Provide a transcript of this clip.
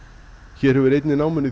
hér hefur einni námunni